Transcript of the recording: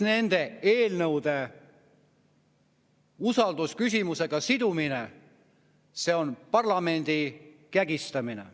Nende eelnõude usaldusküsimusega sidumine on parlamendi kägistamine.